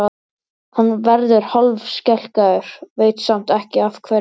Hann verður hálfskelkaður, veit samt ekki af hverju.